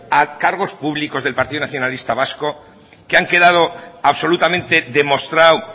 a cargos públicos del partido nacionalista vasco que ha quedado absolutamente demostrado